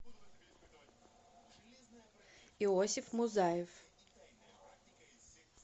иосиф музаев